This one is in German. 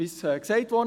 Wie gesagt wurde: